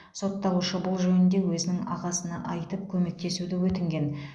сотталушы бұл жөнінде өзінің ағасына айтып көмектесуді өтінген